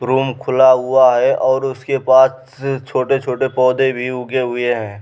Room खुला हुआ है और उसके पास छोटे-छोटे पौधे भी उगे हुए हैं।